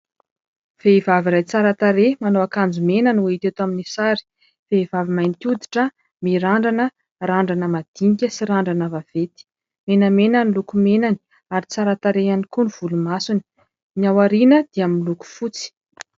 Vehivavy iray tsara tarehy manao akanjo mena no hita eto amin'ny sary. Vehivavy mainty hoditra mirandrana, randrana madinika sy randrana vaventy. Menamena ny lokomenany ary tsara tarehy ihany koa ny volomasony, ny ao aoriana dia miloko fotsy.